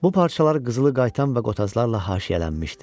Bu parçalar qızılı qayıtan və qotazlarla haşiyələnmişdi.